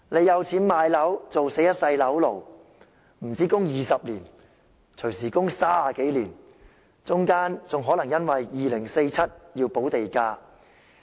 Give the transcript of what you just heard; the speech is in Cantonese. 有錢買樓的人，也要做一世"樓奴"，供款不單要20年，動輒要30年，到了2047年還可能要補地價。